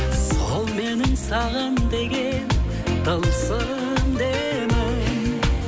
сол менің саған деген тылсым демім